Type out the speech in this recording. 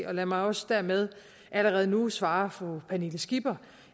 og lad mig også dermed allerede nu svare fru pernille skipper